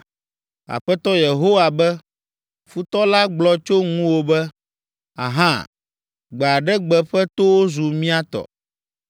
Aƒetɔ Yehowa be, futɔ la gblɔ tso ŋuwò be, “Ahã! Gbe aɖe gbe ƒe towo zu mía tɔ.” ’